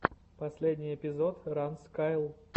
последний эпизод ранз кайл